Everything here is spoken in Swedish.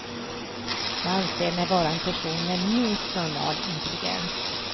Jag anser mig vara en person med minst normal intelligens.